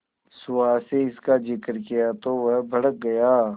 सुहास से इसका जिक्र किया तो वह भड़क गया